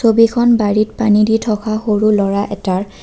ছবিখন বাৰীত পানী দি থকা সৰু ল'ৰা এটাৰ।